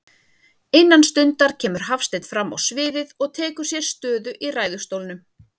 Innan stundar kemur Hafsteinn frammá sviðið og tekur sér stöðu í ræðustólnum.